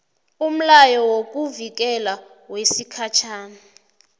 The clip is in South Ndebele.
umlayo wokuvikelwa wesikhatjhana